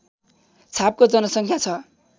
छापको जनसङ्ख्या छ